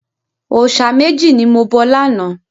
Òòṣà méjì ni mo bọ lánàá.